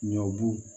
Ɲɔbu